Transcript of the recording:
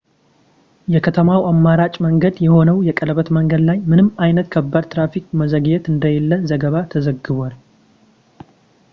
የከተማው አማራጭ መንገድ የሆነው የቀለበት መንገድ ላይ ምንም አይነት ከባድ የትራፊክ መዘግየት እንደሌለ ዘገባ ተዘግቧል